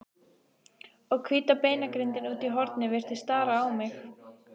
Og hvíta beinagrindin úti í horni virtist stara á mig.